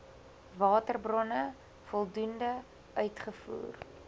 waterbronne voldoende uitgevoer